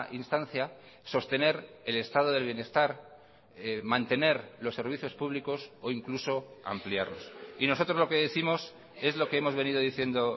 instancia sostener el estado del bienestar mantener los servicios públicos o incluso ampliarlos y nosotros lo que décimos es lo que hemos venido diciendo